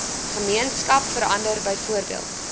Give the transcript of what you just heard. gemeenskap verander byvoorbeeld